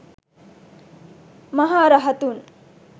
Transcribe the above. maha rahathun